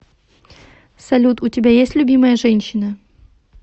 салют у тебя есть любимая женщина